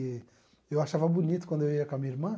E eu achava bonito quando eu ia com a minha irmã.